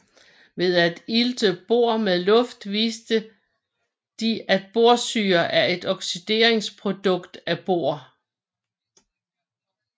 Ved at ilte bor med luft viste de at borsyre er et oxideringsprodukt af bor